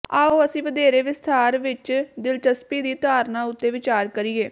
ਆਉ ਅਸੀਂ ਵਧੇਰੇ ਵਿਸਥਾਰ ਵਿੱਚ ਦਿਲਚਸਪੀ ਦੀ ਧਾਰਨਾ ਉੱਤੇ ਵਿਚਾਰ ਕਰੀਏ